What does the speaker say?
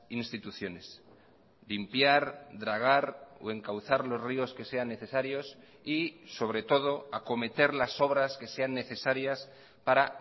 instituciones limpiar dragar o encauzar los ríos que sean necesarios y sobre todo acometer las obras que sean necesarias para